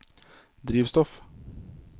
drivstoff